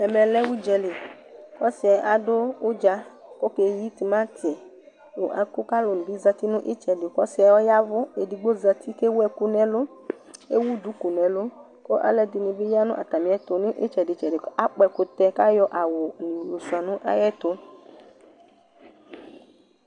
ɛmɛ lɛ udza li k'ɔsiɛ adu udza, kɔke yi timanti, nu ɛku, k'alu ni bi zati nu itsɛdi ku ɔsiɛ yavu k'alu ni bi zati k'ewu ɛku n'ɛlu ewu duku n'ɛlu ku ɔlu ɛdini bi ya nu ata mi'ɛtu nu itsɛdi tsɛdi ku akpɔ ɛkutɛ k'ayɔ awu yɔ sʋia nu ay'ɛtu